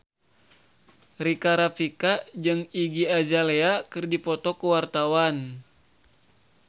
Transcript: Rika Rafika jeung Iggy Azalea keur dipoto ku wartawan